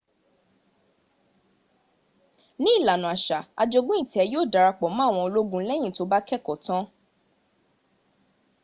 ní ìlànà àṣà ajogún ìtẹ yíò dara pọ̀ mọ àwọn ológun lẹ́yìn tó bá keẹ́kọ̀ọ́ tán